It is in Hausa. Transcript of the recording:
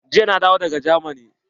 Jiya na dawo daga jamani.